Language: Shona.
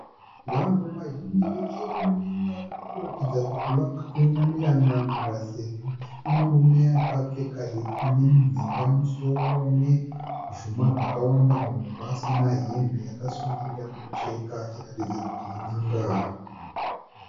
Vanhu vazhinji vechirume vari kuratidza kuti vakaunganira n'anga sezvo pane murume akapfeka heti ineminhenga mumusoro ne zvuma zvakawanda muhuro, asina hembe, akasungira mucheka achiratidza kuti in'anga.